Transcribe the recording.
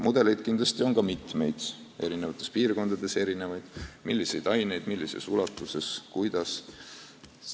Mudeleid on kindlasti mitmeid – eri piirkondades on need erinevad –, milliseid aineid, millises ulatuses ja kuidas õpetada.